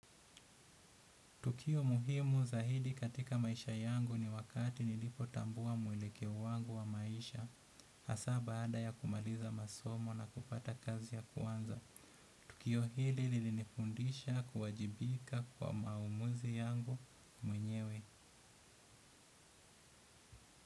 Tukio muhimu zaidi katika maisha yangu ni wakati nilipotambua mwelekeo wangu wa maisha. Hasa baada ya kumaliza masomo na kupata kazi ya kwanza tukio hili lilinifundisha kuwajibika kwa maamuzi yangu mwenyewe.